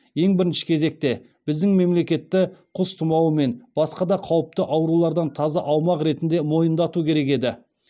ең бірінші кезекте біздің мемлекетті құс тұмауы мен басқа да қауіпті аурулардан таза аумақ ретінде мойындату керек еді